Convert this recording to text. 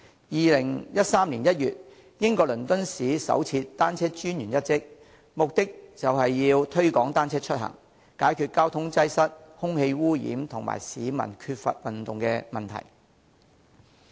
2013年1月，英國倫敦市首設單車專員一職，目的是推廣單車出行，解決交通擠塞、空氣污染和市民缺乏運動的問題。